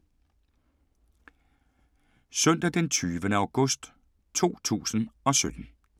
Søndag d. 20. august 2017